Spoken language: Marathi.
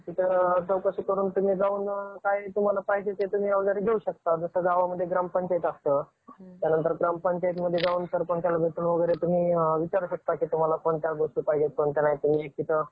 तिथं चौकशी करुन तुम्ही जाऊन काय तुम्हाला पाहिजे ते अवजारे घेऊ शकता. जसं गावामध्ये ग्रामपंचायत असतं. त्यानंतर ग्रामपंचायतीमध्ये जाऊन सरपंचाला भेटून वगैरे तुम्ही विचारु शकता कि तुम्हाला कोणत्या गोष्टी पाहिजे, कोणत्या गोष्टी नाही ते. एक तिथं